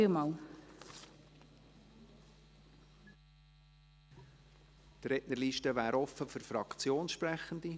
Die Rednerliste ist offen für Fraktionssprechende.